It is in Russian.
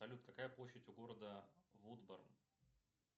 салют какая площадь у города вудберн